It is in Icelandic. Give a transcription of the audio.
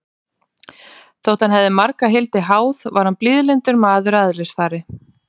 Þótt hann hefði marga hildi háð, var hann blíðlyndur maður að eðlisfari.